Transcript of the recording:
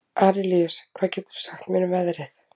Arilíus, hvað geturðu sagt mér um veðrið?